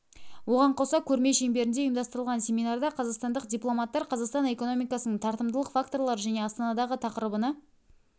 оған қоса көрме шеңберінде ұйымдастырылған семинарда қазақстандық дипломаттар қазақстан экономикасының тартымдылық факторлары және астанадағы тақырыбына